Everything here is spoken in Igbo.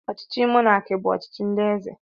Ọchịchị monaki bụ ọchịchị ndị eze.